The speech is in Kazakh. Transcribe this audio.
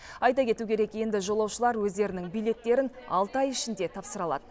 айта кету керек енді жолаушылар өздерінің билеттерін алты ай ішінде тапсыра алады